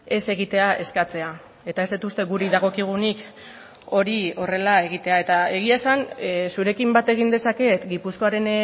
ez egitea eskatzea eta ez dut uste guri dagokigunik hori horrela egitea eta egia esan zurekin bat egin dezaket gipuzkoaren